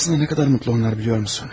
Əslində nə qədər xoşbəxt onlar bilirsənmi?